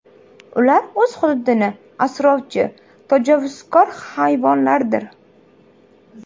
Ular o‘z hududini asrovchi, tajovuzkor hayvonlardir.